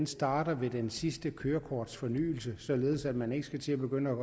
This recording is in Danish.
starter ved den sidste kørekortfornyelse således at man ikke skal begynde